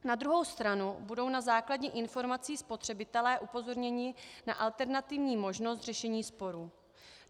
Na druhou stranu budou na základě informací spotřebitelé upozorněni na alternativní možnost řešení sporů.